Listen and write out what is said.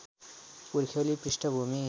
पुर्ख्यौली पृष्ठभूमि